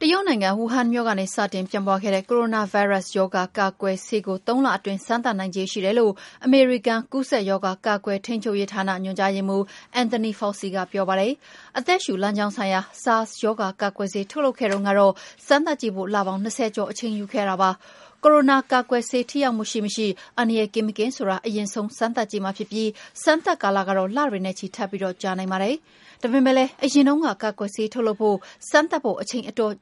တရုတ်နိုင်ငံ၊ ဝူဟန်မြို့ကနေ စတင်ပြန့်ပွားခဲ့တဲ့ ကိုရိုနာဗိုင်းရပ်စ်ရောဂါ ကာကွယ်ဆေးကို ၃ လအတွင်း စမ်းသပ်နိုင်ခြေရှိတယ်လို့ အမေရိကန် ကူးစက်ရောဂါ ကာကွယ်ထိန်းချုပ်ရေးဌာန ညွှန်ကြားရေးမှူး Anthony Fauci က ပြောပါတယ်။ အသက်ရှူလမ်းကြောင်းဆိုင်ရာ SARS ရောဂါ ကာကွယ်ဆေး ထုတ်လုပ်ခဲ့တုန်းကတော့ စမ်းသပ်ကြည့်ဖို့ လပေါင်း ၂၀ ကျော် အချိန်ယူခဲ့ရတာပါ။ ကိုရိုနာကာကွယ်ဆေး ထိရောက်မှုရှိမရှိ၊ အန္တရာယ်ကင်းမကင်းဆိုတာ အရင်ဆုံး စမ်းသပ်ကြည့်မှာဖြစ်ပြီး စမ်းသပ်ကာလကတော့ လတွေနဲ့ချီ ထပ်ပြီး ကြာနိုင်ပါတယ်။ ဒါပေမယ့်လည်း အရင်တုန်းက ကာကွယ်ဆေးထုတ်လုပ်ဖို့၊ စမ်းသပ်ဖို့ အချိန်အတော်